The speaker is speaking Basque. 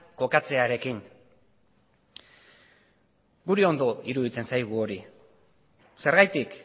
kokatzearekin guri ondo iruditzen zaigu hori zergatik